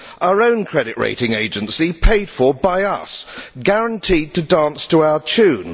Our own credit rating agency paid for by us, guaranteed to dance to our tune.